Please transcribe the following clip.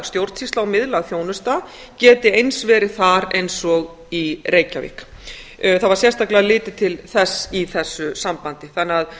stjórnsýsla og miðlæg þjónusta geti eins verið þar eins og í reykjavík það var sérstaklega litið til þess í þessu sambandi þannig að